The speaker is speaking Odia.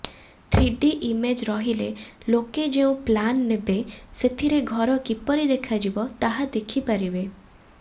ଥ୍ରୀଡି ଇମେଜ ରହିଲେ ଲୋକେ ଯେଉଁ ପ୍ଲାନ ନେବେ ସେଥିରେ ଘର କିପରି ଦେଖାଯିବ ତାହା ଦେଖିପାରିବେ